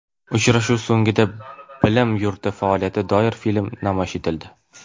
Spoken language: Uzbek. Uchrashuv so‘ngida bilim yurti faoliyatiga doir film namoyish etildi.